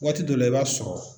Waati dɔ la i b'a sɔrɔ